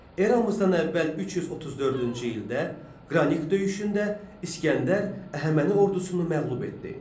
Eramızdan əvvəl 334-cü ildə Qranik döyüşündə İsgəndər Əhəməni ordusunu məğlub etdi.